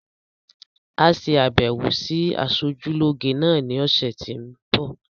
Á ṣe àbẹwò sí asojúlógé náà ní ọ̀sẹ̀ tí ń bi